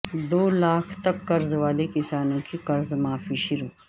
دو لاکھ تک قرض والے کسانوں کی قرض معافی شروع